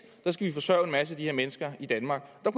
skal forsørge en masse af de her mennesker i danmark der